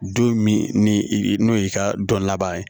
Don min ni i n'o y'i ka dɔn laban ye